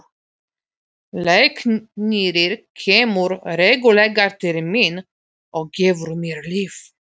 Læknirinn kemur reglulega til mín og gefur mér lyf.